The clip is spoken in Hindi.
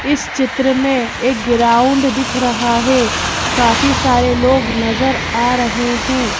इस चित्र में एक ग्राउंड दिख रहा है काफी सारे लोग नजर आ रहे हैं।